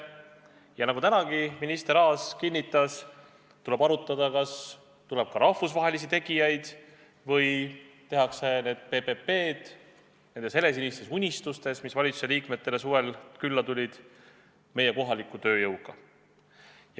Ja nagu minister Aas täna kinnitas, tuleb arutada sedagi, kas tuleb ka rahvusvahelisi tegijaid või viiakse need PPP-projektid ellu helesiniste unistuste taustal – mis valitsuse liikmetele suvel külla tulid –, kasutades meie kohalikku tööjõudu.